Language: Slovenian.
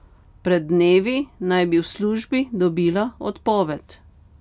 Pred dnevi naj bi v službi dobila odpoved.